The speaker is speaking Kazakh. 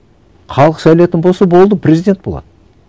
халық сайлайтын болса болды президент болады